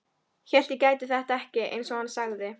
Hélt ég gæti þetta ekki, einsog hann sagði.